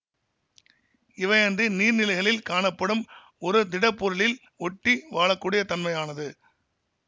இவையன்றி நீர்நிலைகளில் காணப்படும் ஒரு திடப்பொருளில் ஒட்டி வாழக்கூடியத் தன்மையானது